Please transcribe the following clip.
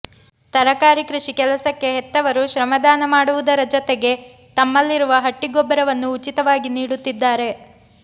ತರಕಾರಿ ಕೃಷಿ ಕೆಲಸಕ್ಕೆ ಹೆತ್ತವರು ಶ್ರಮದಾನ ಮಾಡುವುದರ ಜತೆಗೆ ತಮ್ಮಲ್ಲಿರುವ ಹಟ್ಟಿ ಗೊಬ್ಬರವನ್ನು ಉಚಿತವಾಗಿ ನೀಡುತ್ತಿದ್ದಾರೆ